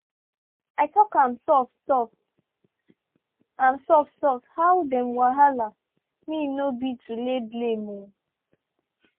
i talk am soft-soft am soft-soft how dem wahala me no be to lay blame-o.